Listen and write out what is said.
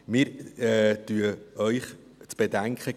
Wir geben Ihnen zu bedenken: